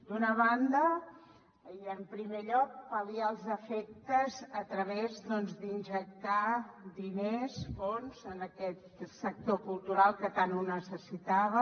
d’una banda i en primer lloc pal·liar els efectes a través doncs d’injectar diners fons en aquest sector cultural que tant ho necessitava